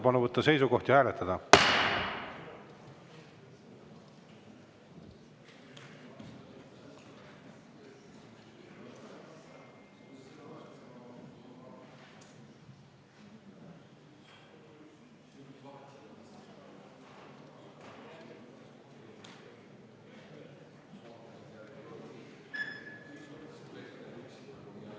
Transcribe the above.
Palun võtta seisukoht ja hääletada!